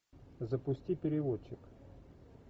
запусти переводчик